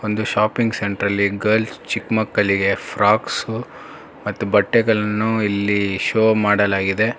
ಒಂದು ಶಾಪಿಂಗ್ ಸೆಂಟ್ರಲ್ಲಿ ಗರ್ಲ್ಸ್ ಚಿಕ್ ಮಕ್ಕಳಿಗೆ ಫ್ರೋಕ್ಸ್ ಮತ್ತು ಬಟ್ಟೆಗಳನ್ನು ಇಲ್ಲಿ ಶೋ ಮಾಡಲಾಗಿದೆ.